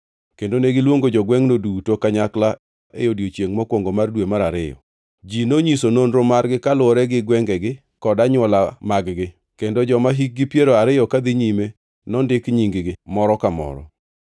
kendo negiluongo jogwengʼno duto kanyakla e odiechiengʼ mokwongo mar dwe mar ariyo. Ji nonyiso nonro margi kaluwore gi gwengegi kod anywola mag-gi, kendo joma hikgi piero ariyo kadhi nyime nondik nying-gi, moro ka moro,